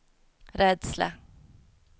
rädsla